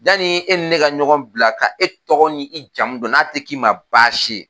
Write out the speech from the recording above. Yanni e ni ne ka ɲɔgɔn bila ka e tɔgɔ ni i jamu dɔn n'a tɛ k'i ma baasi ye